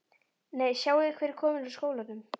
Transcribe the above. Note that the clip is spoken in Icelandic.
Nei, sjáiði hver er kominn úr skólanum